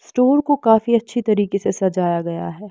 Store को काफी अच्छी तरीके से सजाया गया है।